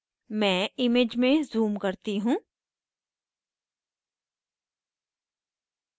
मैं image में zoom करती हूँ